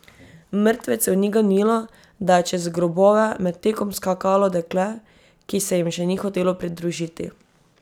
Mrtvecev ni ganilo, da je čez grobove med tekom skakalo dekle, ki se jim še ni hotelo pridružiti.